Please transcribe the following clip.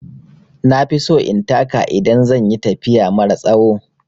Na fi so in taka idan zan yi tafiya mara tsawo.